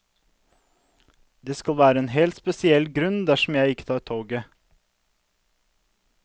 Det skal være en helt spesiell grunn dersom jeg ikke tar toget.